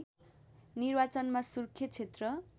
निर्वाचनमा सुर्खेत क्षेत्र